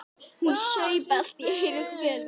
Hún saup allt í einu hveljur.